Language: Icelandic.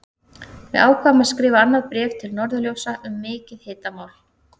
Við ákváðum að skrifa annað bréf til Norðurljósa um mikið hitamál!